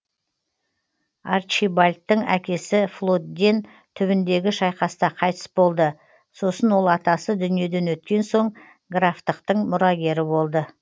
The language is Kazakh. арчибальдтың әкесі флодден түбіндегі шайқаста қайтыс болды сосын ол атасы дүниеден өткен соң графтықтың мұрагері болды